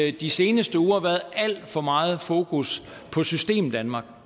i de seneste uger været alt for meget fokus på systemdanmark